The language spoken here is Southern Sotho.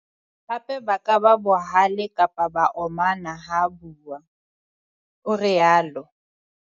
"Hape ba ka ba bohale kapa ba omana ha bua," o rialo.